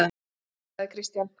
Nei, sagði Christian.